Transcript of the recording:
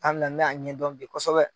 Ana ne y'a ɲɛdɔn bi kosɛbɛ